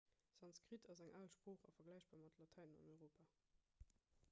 sanskrit ass eng al sprooch a vergläichbar mat latäin an europa